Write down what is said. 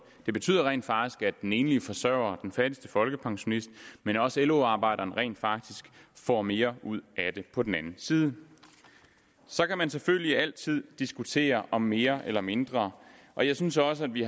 det betyder rent faktisk at den enlige forsøger og den fattigste folkepensionist men også lo arbejderen rent faktisk får mere ud af det på den anden side så kan man selvfølgelig altid diskutere om mere eller mindre og jeg synes også at vi